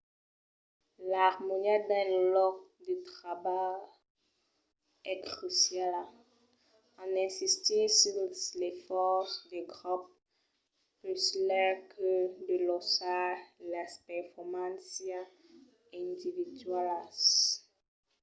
l’armonia dins lo lòc de trabalh es cruciala en insistir sus l’esfòrç de grop puslèu que de lausar las performàncias individualas